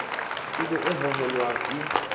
e be e hohelang e